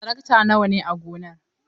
Tarakta nawa ne a gonar?